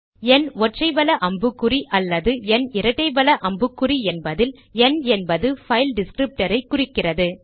ந் ஒற்றை வல அம்புக்குறி அல்லது ந் இரட்டை வல அம்புக்குறி என்பதில் ந் என்பது பைல் டிஸ்க்ரிப்டர் ஐ குறிக்கிறது